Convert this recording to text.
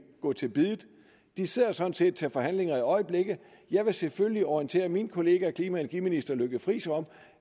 gå til biddet de sidder sådan set til forhandlinger i øjeblikket og jeg vil selvfølgelig orientere min kollega energiminister lykke friis om